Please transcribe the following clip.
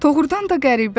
Doğrudan da qəribədir.